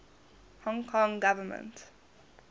hong kong government